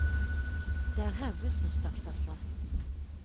Det er her bussen starter fra.